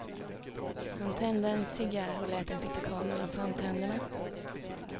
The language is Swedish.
Han tände en cigarr och lät den sitta kvar mellan framtänderna.